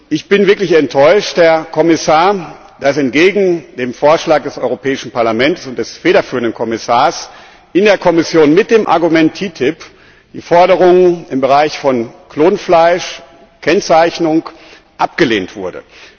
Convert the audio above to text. Ich bin wirklich enttäuscht, Herr Kommissar, dass entgegen dem Vorschlag des Europäischen Parlaments und des federführenden Kommissars in der Kommission mit dem Argument TTIP die Forderungen im Bereich von Klonfleisch Kennzeichnung abgelehnt wurden.